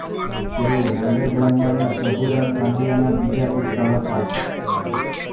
તેઓ નાગર બ્રાહ્મણ પ્રભુરામ પંડ્યાના બીજા પુત્ર હતા